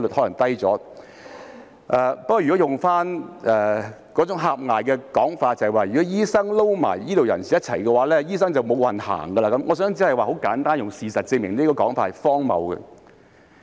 如果套用那種狹隘的說法，就是如果醫生與醫療人員合併為一個界別，醫生便會"無運行"，我想簡單地用事實證明這種說法是荒謬的。